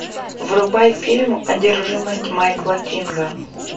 врубай фильм одержимость майкла кинга